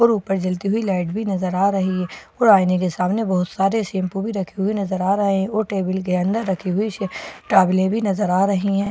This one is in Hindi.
और ऊपर जलती हुई लाइट भी नजर आ रही है और आईने के सामने बहुत सारे शैंपू भी रखें नजर आ रहे हैं और टेबल के अंदर रखी हुई टॉवले भी नजर आ रही हैं --